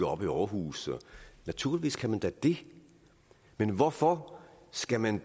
op i aarhus og naturligvis kan man da det men hvorfor skal man